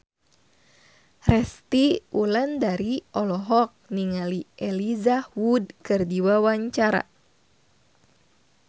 Resty Wulandari olohok ningali Elijah Wood keur diwawancara